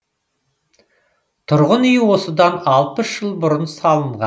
тұрғын үй осыдан алпыс жыл бұрын салынған